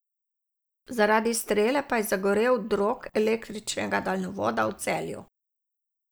Zaradi strele pa je zagorel drog električnega daljnovoda v Celju.